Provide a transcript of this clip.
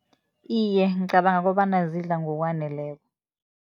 Iye, ngicabanga kobana zidla ngokwaneleko.